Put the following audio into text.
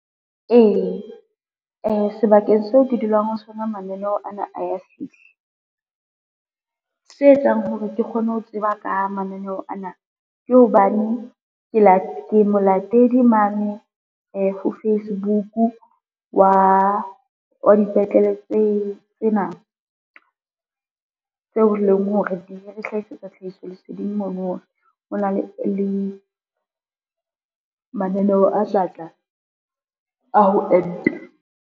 Ee, sebakeng seo ke dulang ho sona mananeo ana a ya fihla. Se etsang hore ke kgone ho tseba ka mananeho ana ke hobane ke molatedi mane ho Facebook wa dipetlele tsena, tseo leng hore di re hlahisetsa tlhahiso leseding mono hore ho na le mananeo a tlatla a ho enta.